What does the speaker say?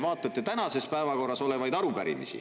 Vaadake tänases päevakorras olevaid arupärimisi.